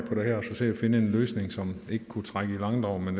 finde en løsning som ikke kunne trække i langdrag men